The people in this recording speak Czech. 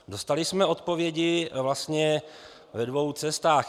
Dostali jsme odpovědi vlastně ve dvou cestách.